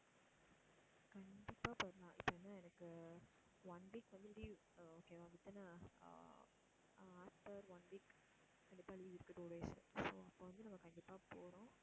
கண்டிப்பா போயிடலாம் ஏன்னா எனக்கு one week வந்து leave ஆஹ் okay வா within a ah after one week கண்டிப்பா leave இருக்கு two days so உ அப்போ வந்து நம்ம கண்டிப்பா போறோம்